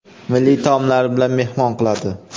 milliy taomlari bilan mehmon qiladi.